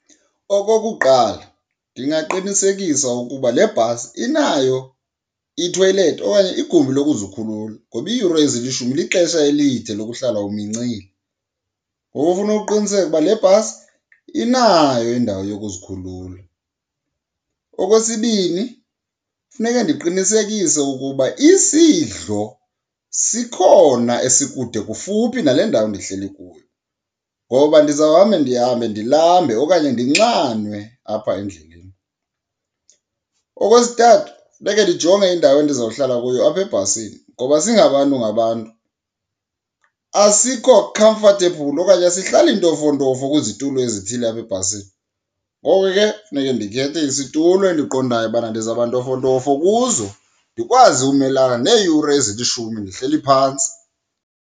Okokuqala, ndingaqinisekisa ukuba le bhasi inayo ithoyilethi okanye igumbi lokuzikhulula ngoba iiyure ezilishumi lixesha elide lokuhlala umincile. Ngoku funa uqiniseke uba lebhasi inayo indawo yokuzikhulula. Okwesibini, funeke ndiqinisekise ukuba isidlo sikhona esikude kufuphi nale ndawo ndihleli kuyo, ngoba ndizawuhamba ndihambe ndilambe okanye ndinxanwe apha endleleni. Okwesithathu, funeke ndijonge indawo endizawuhlala kuyo apha ebhasini ngoba singabantu ngabantu asikho comfortable okanye asihlali ntofontofo kwizitulo ezithile apha ebhasini. Ngoko ke, funeke ndikhethe isitulo endiqondayo ubana ndizawuba ntofontofo kuzo ndikwazi umelana neeyure ezilishumi ndihleli phantsi.